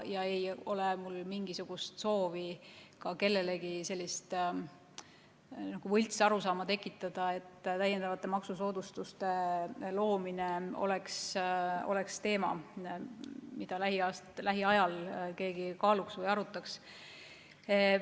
Ei ole mul mingisugust soovi ka kellelegi sellist võltsarusaama tekitada, et täiendavate maksusoodustuste loomine oleks teema, mida lähiajal keegi kaaluks või arutaks.